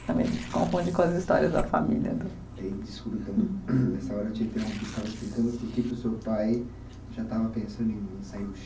Se confunde com as histórias da família. Desculpe então, nessa hora eu te interrompi, você estava explicando porque que o seu pai já estava pensando em sair